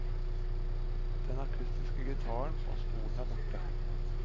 Den akkustiske gitaren og stolen er borte.